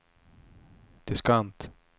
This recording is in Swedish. diskant